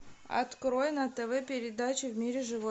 открой на тв передачу в мире животных